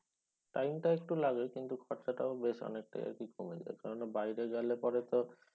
Time টা একটু লাগে কিন্তু খরচাটাও বেশ অনেকটাই আরকি কমে যায় কেননা বাইরে গেলে পরে তো